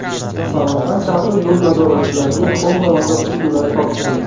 Samarqand shahri yo‘l nazoratchilariga Honda mototsikllari topshirildi.